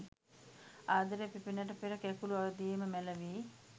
ආදරය පිපෙන්නට පෙර කැකූළු අවධියේදීම මැළවී